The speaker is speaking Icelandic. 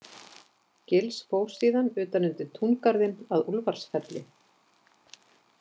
Gils fór síðan utan undir túngarðinn að Úlfarsfelli.